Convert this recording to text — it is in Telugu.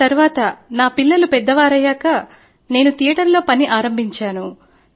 ఆ తరువాత నా పిల్లలు పెద్దవారయ్యాక నేను థియేటర్ లో పని ఆరంభించాను